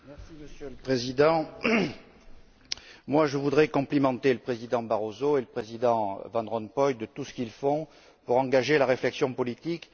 Monsieur le Président, je voudrais complimenter le président Barroso et le président Van Rompuy pour tout ce qu'ils font pour engager la réflexion politique.